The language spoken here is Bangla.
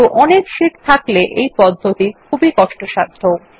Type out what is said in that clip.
কিন্তু অনেক শীট থাকলে এই পদ্ধতি খুবই কষ্টসাধ্য